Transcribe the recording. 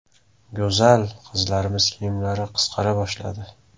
), go‘zal qizlarimiz kiyimlari qisqara boshladi.